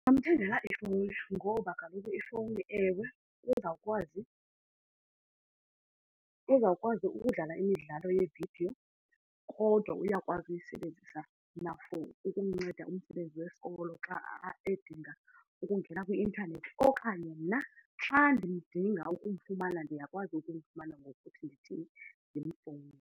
Ndingamthengela ifowuni ngoba kaloku ifowuni, ewe, uzawukwazi, uzawukwazi ukudlala imidlalo yeevidiyo kodwa uyakwazi ukuyisebenzisa na-for ukumnceda kumsebenzi wesikolo xa edinga ukungena kwi-intanethi. Okanye mna xa ndidinga ukumfumana ndiyakwazi ukumfumana ngokuthi ndithini, ndimfowunele.